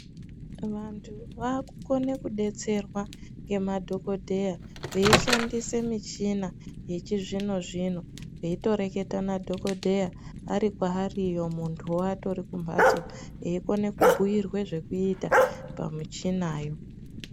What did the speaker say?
Vantu vakukona kudetserwa nemadhokodheya veishandisa me ichina yechizvino zvino veitoreketa nadhokodheya Ari kwaari muntu atori kumbatso Eikona kubhuirwa zvekuita pamuchinayo.